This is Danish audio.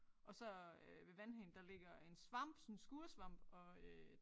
Og så øh ved vandhanen der ligger en svamp sådan skuresvamp og øh